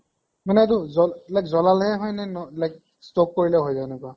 মানে এইটো জল এইবিলাক জ্বলালে হয় নে ন like stock কৰিলে হৈ যায় এনেকুৱা?